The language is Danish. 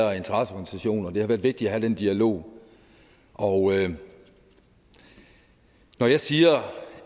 og interesseorganisationer og det har været vigtigt at have den dialog og når jeg siger